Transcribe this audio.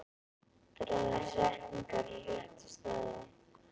Dragðu setningar á rétta staði.